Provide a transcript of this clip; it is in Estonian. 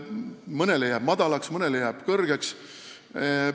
Mõnele jääb helistik madalaks, mõnele jääb kõrgeks.